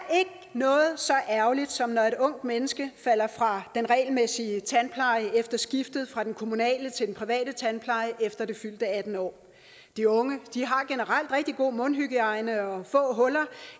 noget så ærgerligt som når et ungt menneske falder fra den regelmæssige tandpleje efter skiftet fra den kommunale til den private tandpleje efter det fyldte atten år de unge har generelt rigtig god mundhygiejne og få huller